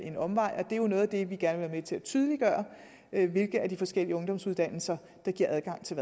en omvej og det er jo noget af det vi gerne vil til at tydeliggøre nemlig hvilke af de forskellige ungdomsuddannelser der giver adgang til